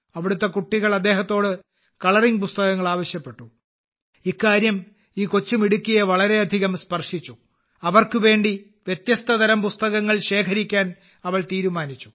അവിടത്തെ കുട്ടികൾ അദ്ദേഹത്തോട് കളറിംഗ് പുസ്തകങ്ങൾ ആവശ്യപ്പെട്ടു ഇക്കാര്യം ഈ കൊച്ചുമിടുക്കിയെ വളരെയധികം സ്പർശിച്ചു അവർക്കുവേണ്ടി വ്യത്യസ്തതരം പുസ്തകങ്ങൾ ശേഖരിക്കാൻ അവൾ തീരുമാനിച്ചു